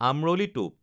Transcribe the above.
আমৰলি টোপ